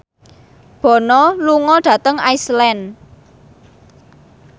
Bono lunga dhateng Iceland